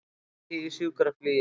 Annríki í sjúkraflugi